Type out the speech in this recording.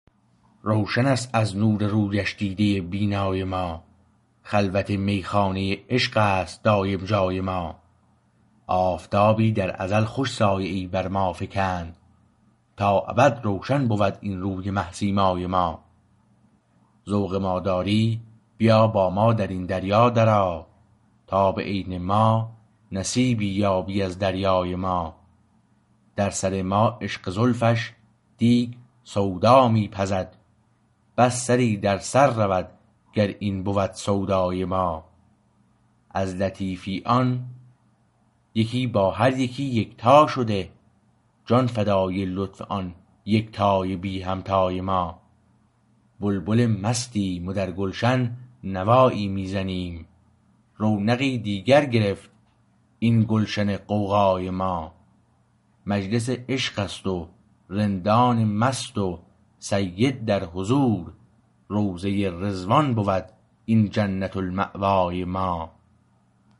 روشن است از نور رویش دیده بینای ما خلوت میخانه عشق است دایم جای ما آفتابی در ازل خوش سایه ای برما فکند تا ابد روشن بود این روی مه سیمای ما ذوق ما داری بیا با ما در این دریا در آ تا به عین ما نصیبی یابی از دریای ما در سر ما عشق زلفش دیگ سودا می پزد بس سری در سر رود گر این بود سودای ما از لطیفی آن یکی با هر یکی یکتا شده جان فدای لطف آن یکتای بی همتای ما بلبل مستیم و درگلشن نوایی می زنیم رونقی دیگر گرفت این گلشن غوغای ما مجلس عشقست و رندان مست و سید در حضور روضه رضوان بود این جنت المأوای ما